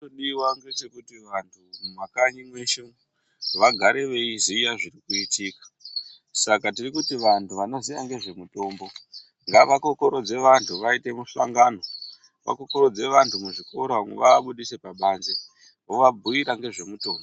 Chirikudiwa ngechekuti vantu mumakanyi mweshe umu vagare veiziya zvirikuitika. Saka tirikuti vantu vanoziya nezvemitombo ngavakokorodze vantu vaite muhlongano vakokorodze vantu muzvikoro vaabudise pabanze vovabhuyira ngezvemutombo.